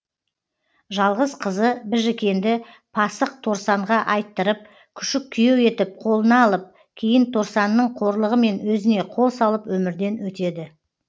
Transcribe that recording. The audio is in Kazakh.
жалғыз қызы біжікенді пасық торсанға айттырып күшік күйеу етіп қолына алып кейін торсанның қорлығымен өзіне қол салып өмірден өтеді